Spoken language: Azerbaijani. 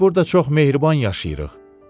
Biz burda çox mehriban yaşayırıq.